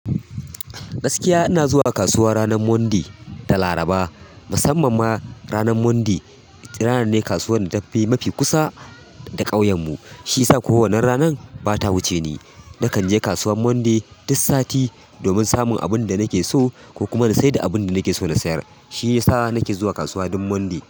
Gaskiya ina zuwa kasuwa ranar Monday da Laraba. Musamman ma ranar Monday, ita ranan ne kasuwan da tafi mafi kusa da ƙauyen mu, shi yasa kuwa wannan ranan bata wuce ni. Nakan je kasuwan Monday duk sati domin samun abin da nake so ko kuma na saida abin da nake so na sayar. Shiyasa nake zuwa kasuwa dum Monday.